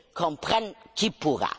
Comprenne qui pourra!